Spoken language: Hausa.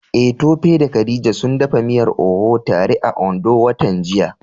Eh Tope da Khadija sun dafa miyar Oha tare a Ondo watan jiya.